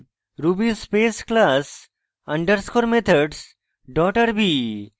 ruby space class underscore methods dot rb